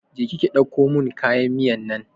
Je ki ki ɗauko mun kayan miyan nan!